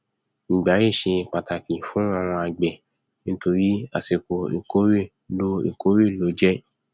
ìgbà yìí ṣe pàtàkì fún àwọn àgbẹ nítorí àsìkò ìkórè ló ìkórè ló jẹ